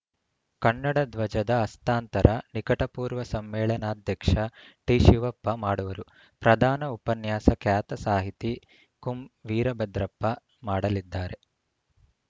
ಕನ್ನಡ ಧ್ವಜದ ಹಸ್ತಾಂತರ ನಿಕಟಪೂರ್ವ ಸಮ್ಮೇಳನಾಧ್ಯಕ್ಷ ಟಿ ಶಿವಪ್ಪ ಮಾಡುವರು ಪ್ರಧಾನ ಉಪನ್ಯಾಸ ಖ್ಯಾತ ಸಾಹಿತಿ ಕುಂ ವೀರಭದ್ರಪ್ಪ ಮಾಡಲಿದ್ದಾರೆ